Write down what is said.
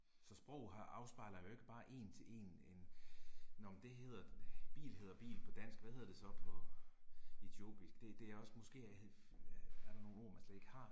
Så sprog har afspejler jo ikke bare én til én en, nåh men det hedder, bil hedder bil på dansk, hvad hedder det så på etiopisk det det er også måske er der nogle ord man slet ikke har